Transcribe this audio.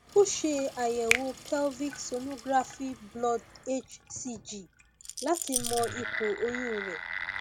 o ṣe àyẹwò pelvic sonographyblood hcg láti mọ ipò oyún rẹ